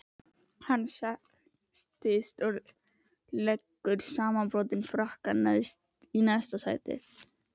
Hann sest og leggur samanbrotinn frakkann í næsta sæti.